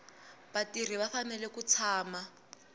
vatirhi va fanele ku tshama